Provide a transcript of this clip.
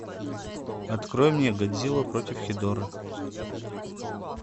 открой мне годзилла против хедоры